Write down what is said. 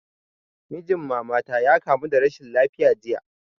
Mijin mama ta ya kamu da rashin lafiya jiya